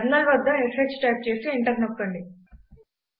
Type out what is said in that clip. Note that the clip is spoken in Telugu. టెర్మినల్ వద్ద ష్ టైప్ చేసి ఎంటర్ నొక్కండి